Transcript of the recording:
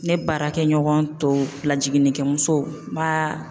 Ne baarakɛ ɲɔgɔn tɔw lajiginnikɛmusow n b'a